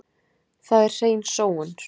Það er hrein sóun.